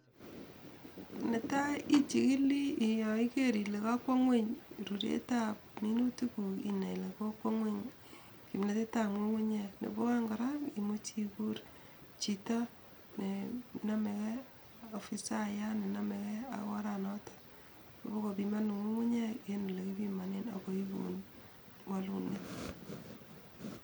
Netai ichikili ye kaiker kole kakwo ingweny ruretab minutikuk inai ile kokwo ingwony kimnatetab ngungunyek, nebo aeng kora imuch ikuur chito nenamekei afisiyat nenamekei ak oranatok ipokopimanun ngungunyek eng ole kipimanen akoi ipuun walunet.